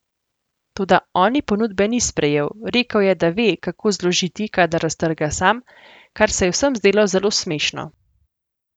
Toda oni ponudbe ni sprejel, rekel je, da ve, kako zložiti, kadar raztrga sam, kar se je vsem zdelo zelo smešno.